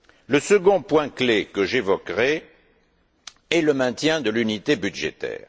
Le second point clé que j'évoquerai est le maintien de l'unité budgétaire.